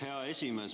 Hea esimees!